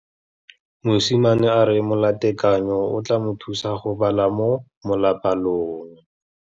Mosimane a re molatekanyô o tla mo thusa go bala mo molapalong.